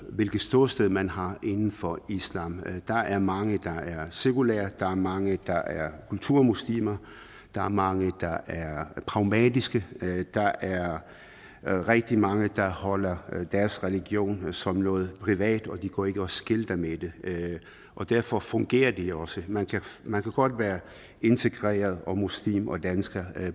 hvilket ståsted man har inden for islam der er mange der er sekulære der er mange der er kulturmuslimer der er mange der er pragmatiske der er rigtig mange der holder deres religion som noget privat og de går ikke og skilter med det og derfor fungerer det også man kan godt være integreret og muslim og dansker